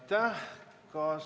Aitäh!